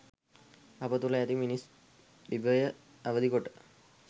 අප තුළ ඇති මිනිස් විභවය අවදි කොට